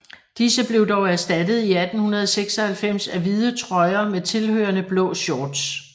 Disse blev dog erstattet i 1896 af hvide trøjer med tilhørende blå shorts